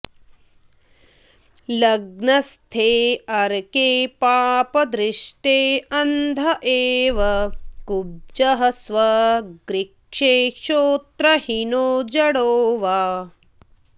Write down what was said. लग्नस्थेऽर्के पापदृष्टेऽन्ध एव कुब्जः स्वगृक्षे श्रोत्रहीनो जडो वा